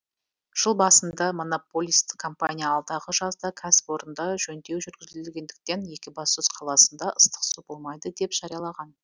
жыл басында монополист компания алдағы жазда кәсіпорында жөндеу жүргізілетіндіктен екібастұз қаласында ыстық су болмайды деп жариялаған